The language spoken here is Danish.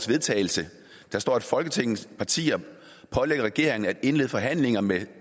vedtagelse der står folketingets partier pålægger regeringen at indlede forhandlinger med